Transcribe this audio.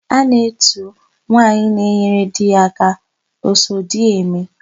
A na-etu nwaanyị na-enyere di ya aka, Osodieme.